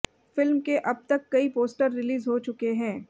film के अब तक कई पोस्टर रिलीज हो चुके हैं